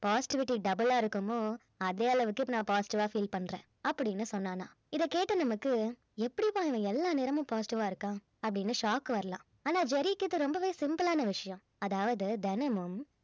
positivity double ஆ இருக்குமோ அதே அளவுக்கு இப்ப நான் positive ஆ feel பண்றேன் அப்படின்னு சொன்னானாம் இதைக் கேட்ட நமக்கு எப்படிப்பா இவன் எல்லா நேரமும் positive ஆ இருக்கான் அப்படின்னு shock வரலாம் ஆனா ஜெர்ரிக்கு இது ரொம்பவே simple ஆன விஷயம் அதாவது தினமும்